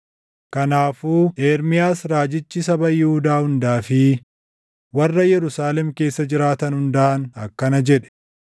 Kanaafuu Ermiyaas raajichi saba Yihuudaa hundaa fi warra Yerusaalem keessa jiraatan hundaan akkana jedhe: